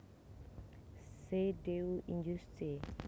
Ce Dieu injuste